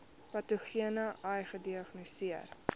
patogene ai gediagnoseer